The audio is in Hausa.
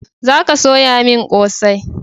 Za ka soya min kosai!